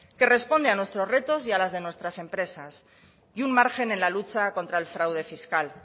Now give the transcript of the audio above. que responde a nuestros retos y a las de nuestras empresas y un margen en la lucha contra el fraude fiscal